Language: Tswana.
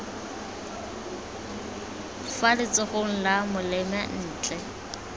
fa letsogong la molema ntle